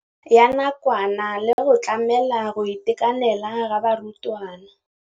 ya nakwana le go tlamela go itekanela ga barutwana.